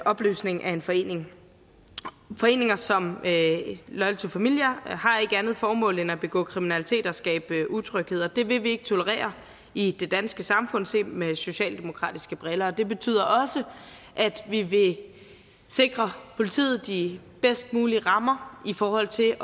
opløsning af en forening foreninger som loyal loyal to familia har ikke andet formål end at begå kriminalitet og skabe utryghed og det vil vi ikke tolerere i det danske samfund set med socialdemokratiske briller det betyder også at vi vil sikre politiet de bedst mulige rammer i forhold til